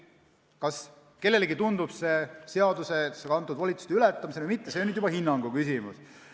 Kas kellelegi tundub see seaduses antud volituste ületamisena või mitte, on juba hinnangu küsimus.